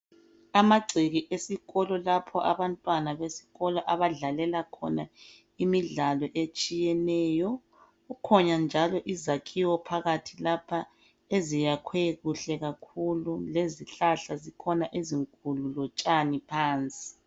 Amagceke esikolo lapho abantwana besikolo abadlalela khona imidlalo etshiyeneyo kukhona njalo izakhiwo phakathi lapha eziyakhwe kuhle kakhulu lezihlahla zikhona ezinkulu lotshani phansi